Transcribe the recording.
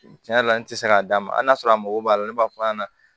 Tiɲɛ yɛrɛ la n tɛ se k'a d'a ma hali n'a sɔrɔ a mago b'a la ne b'a fɔ a ɲɛna